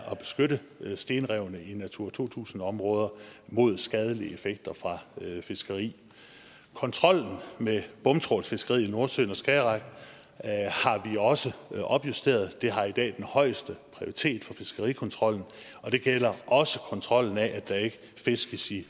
at beskytte stenrevene i natura to tusind områder mod skadelige effekter fra fiskeri kontrollen med bomtrawlfiskeriet i nordsøen og skagerrak har vi også opjusteret det har i dag den højeste prioritet for fiskerikontrollen og det gælder også kontrollen af at der ikke fiskes i